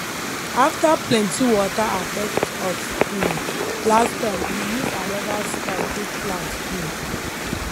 after plenty water affect us um last time we use another style take plant um